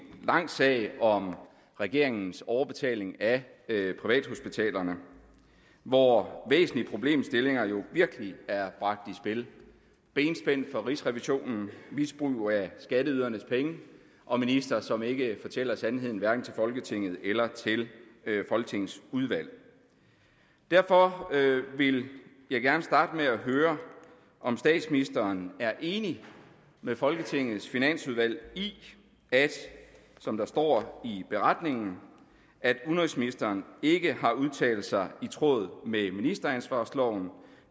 lang sag om regeringens overbetaling af privathospitalerne hvor væsentlige problemstillinger jo virkelig er bragt i spil benspænd for rigsrevisionen misbrug af skatteydernes penge og ministre som ikke fortæller sandheden hverken til folketinget eller til folketingets udvalg derfor vil jeg gerne starte med at høre om statsministeren er enig med folketingets finansudvalg i at som der står i beretningen udenrigsministeren ikke har udtalt sig i tråd med ministeransvarsloven